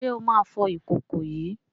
Ṣé ó máa fọ ìkòkò yìí?